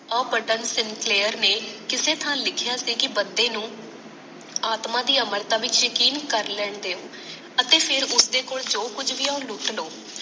ਉਹ ਪੰਡਿਤ sincere ਨੇ ਕਿਸੇ ਥਾਂ ਲਿਖਿਆ ਸੀ ਕਿ ਬੰਦੇ ਨੂੰ ਆਤਮਾ ਦੀ ਆਮਰਤਾ ਪਿੱਛੇ ਕਿ ਭੀ ਕਰ ਲੈਂਦੇ ਹੈ ਅਤੇ ਫੇਰ ਓਹਦੇ ਕੋਲ ਜੋ ਕੁਛ ਭੀ ਹੈ ਉਹ ਲੁੱਟ ਲੋ